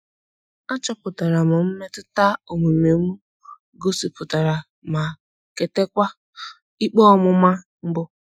Achọpụtara m mmetụta omume m gosipụtara ma kwetekwa ikpe ọmụma mbu